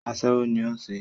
Aṣẹ́wó ní o ń ṣe.